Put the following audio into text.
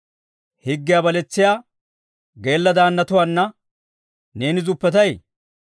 Higgiyaa baletsiyaa geella daannatuwaana neeni zuppetay?